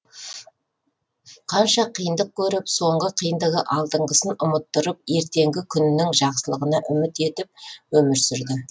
қанша қиындық көріп соңғы қиындығы алдыңғысын ұмыттырып ертеңгі күнінің жақсылығына үміт етіп өмір сүрді